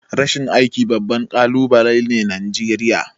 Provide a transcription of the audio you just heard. Rashin aiki babbar kalubale ne Najeriya.